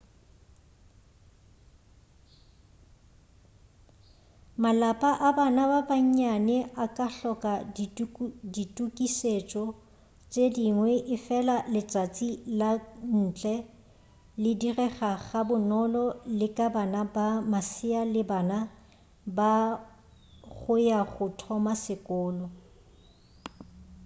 malapa a bana ba bannyane a ka hloka ditukišetšo tše dingwe efela letšatši ka ntle le direga ga bonolo le ka bana ba masea le bana ba go ya go thoma sekolo